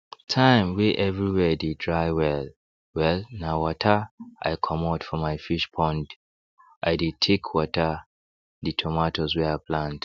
time wey everywhere dey dry well wellna water i commot for my fish pondi dey take water the tomatoes wey i plant